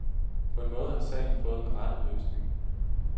På en måde har sagen fået den rette løsning.